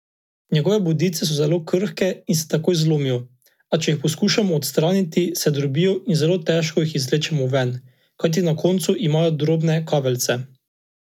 Njegove bodice so zelo krhke in se takoj zlomijo, a če jih poskusimo odstraniti, se drobijo in zelo težko jih izvlečemo ven, kajti na koncu imajo drobne kaveljce.